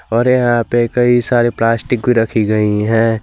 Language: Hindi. और यहां पर कई सारे प्लास्टिक भी रखी गई है।